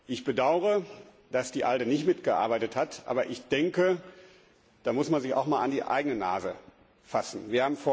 Ich bedauere, dass die ALDE nicht mitgearbeitet hat, aber ich denke, dass man sich da auch mal an die eigene Nase fassen muss.